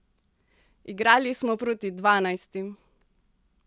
Igrali smo proti dvanajstim!